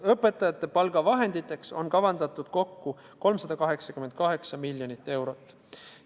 Õpetajate palgaks on vahendeid kavandatud kokku 388 miljonit eurot.